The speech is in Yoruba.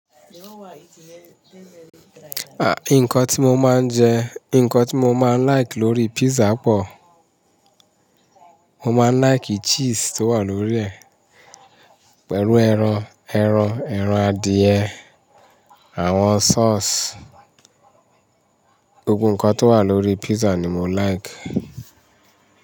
Nǹkan tí mo máa ń jẹ, nǹkan tí mo máa ń like lórí pizza pọ̀, mo máa ń like cheese tó wà lórí ẹ̀ pẹ̀lú ẹran, ẹran, ẹran adìẹ, àwọn sauce, gbogbo nǹkan tó wà lórí pizza ni mo like.